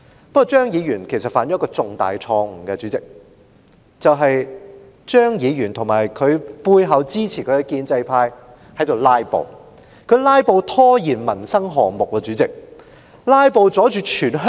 不過，主席，張議員其實犯了一個重大錯誤：張議員及在其背後支持他的建制派都在"拉布"，於是他們窒礙了民生項目的審批。